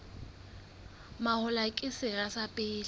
mahola ke sera sa pele